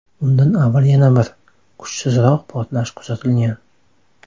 Undan avval yana bir, kuchsizroq portlash kuzatilgan.